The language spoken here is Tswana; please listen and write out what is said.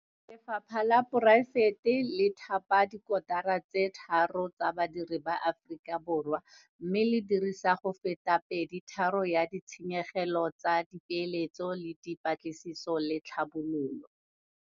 Lefapha la poraefete le Thapa dikotara tse tharo tsa badiri ba Aforika Borwa mme le dirisa go feta peditharong ya ditshenyegelo tsa dipeeletso le dipatlisiso le tlhabololo.